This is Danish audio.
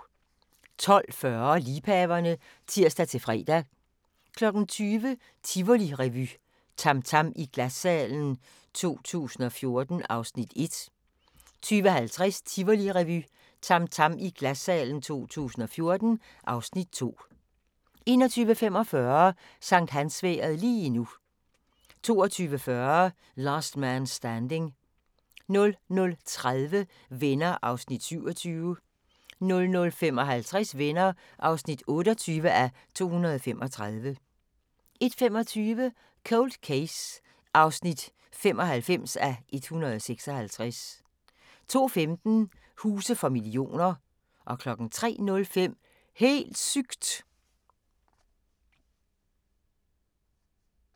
12:40: Liebhaverne (tir-fre) 20:00: Tivolirevy – TAM TAM i Glassalen 2014 (Afs. 1) 20:50: Tivolirevy – TAM TAM i Glassalen 2014 (Afs. 2) 21:45: Sankthansvejret lige nu 22:40: Last Man Standing 00:30: Venner (27:235) 00:55: Venner (28:235) 01:25: Cold Case (95:156) 02:15: Huse for millioner 03:05: Helt sygt!